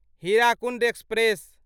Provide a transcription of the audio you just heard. Hirakud express